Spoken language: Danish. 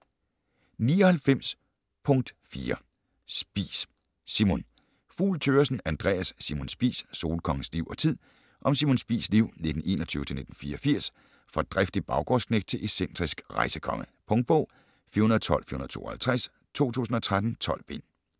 99.4 Spies, Simon Fugl Thøgersen, Andreas: Simon Spies: solkongens liv og tid Om Simon Spies' liv (1921-1984) fra driftig baggårdsknægt til excentrisk rejsekonge. Punktbog 412452 2013. 12 bind.